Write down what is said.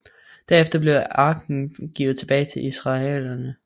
Derefter blev arken givet tilbage til israelitterne